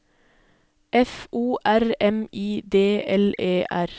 F O R M I D L E R